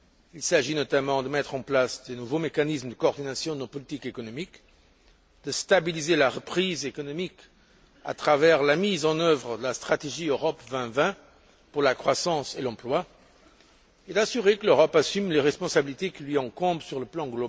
Il s'agit, notamment, de mettre en place de nouveaux mécanismes de coordination de nos politiques économiques, de stabiliser la reprise économique à travers la mise en œuvre de la stratégie Europe 2020 pour la croissance et l'emploi, et de garantir que l'Europe assume les responsabilités qui lui incombent sur le plan